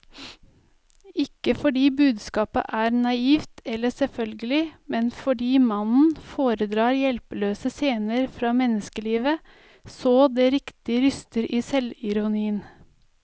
Ikke fordi budskapet er naivt eller selvfølgelig, men fordi mannen foredrar hjelpeløse scener fra menneskelivet så det riktig ryster i selvironien.